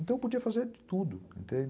Então, eu podia fazer de tudo, entende?